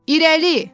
İrəli.